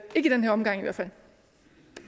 det